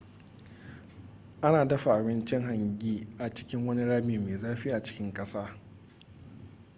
ana dafa abincin hangi a cikin wani rami mai zafi a cikin ƙasa